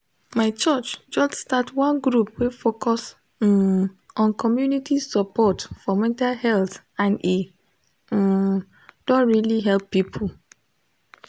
my church just start one group wey focus um on community support for mental health and e um don really help people